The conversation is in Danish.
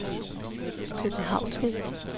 københavnske